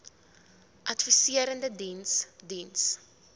adviserende diens diens